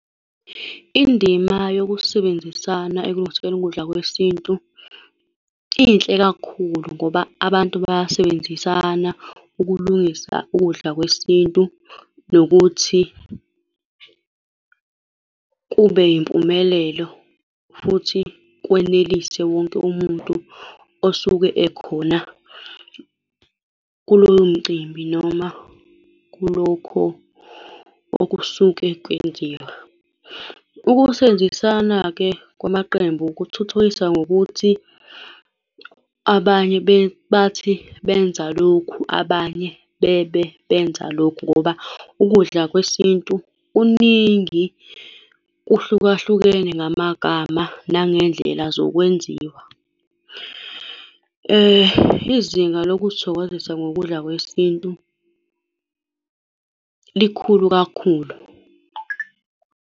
Indima yokusebenzisana ekulungiseni ukudla kwesintu inhle kakhulu ngoba abantu bayasebenzisana ukulungisa ukudla kwesintu, nokuthi kube impumelelo futhi kwenelise wonke umuntu osuke ekhona kulowo mcimbi, noma kulokho okusuke kwenziwa. Ukusebenzisana-ke kwamaqembu kuthuthukisa ngokuthi abanye bathi benza lokhu, abanye bebe benza lokhu, ngoba ukudla kwesintu kuningi, kuhlukahlukene ngamagama nangendlela zokwenziwa. Izinga lokuzithokozisa ngokudla kwesintu likhulu kakhulu.